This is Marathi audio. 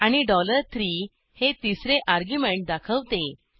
आणि 3 डॉलर तीन हे तिसरे अर्ग्युमेंट दाखवते